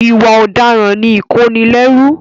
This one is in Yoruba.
Ìwà ọ̀daràn ni ìkónilẹ́rù.